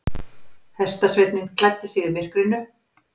Hestasveinninn klæddi sig í myrkrinu.